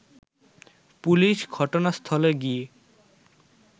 police ঘটনাস্থলে গিয়ে